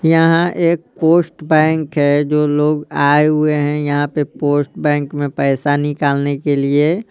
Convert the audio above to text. यहाँ एक post bank है जो लोग आए हुए हैंयहाँ पे पोस्ट बैंक में पैसा निकालने के लिए--